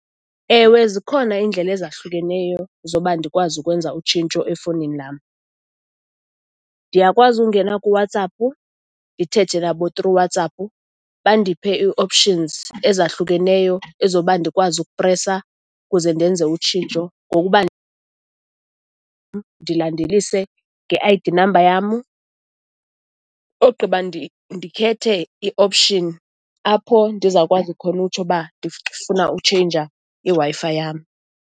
Ewe, zikhona iindlela ezahlukeneyo zoba ndikwazi ukwenza utshintsho efowunini nam. Ndiyakwazi ukungena kuWhatsApp, ndithethe nabo through WhatsApp, bandiphe i-options ezahlukeneyo ezoba ndikwazi ukupresa ukuze ndenze utshintsho ngokuba ndilandelise nge-I_D namba yam, ogqiba ndikhethe i-option apho ndizokwazi khona utsho uba, ndifuna utsheyinja iWi-Fi yam.